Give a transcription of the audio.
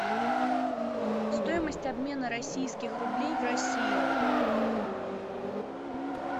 стоимость обмена российских рублей в россии